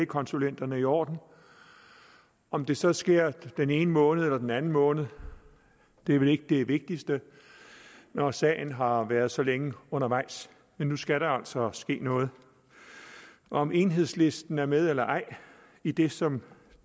konsulenterne i orden om det så sker den ene måned eller den anden måned er vel ikke det vigtigste når sagen har været så længe undervejs men nu skal der altså ske noget om enhedslisten er med eller ej i det som